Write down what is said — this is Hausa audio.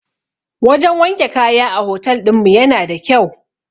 Wajan wanke kaya a hotel ɗinmu yana da kyau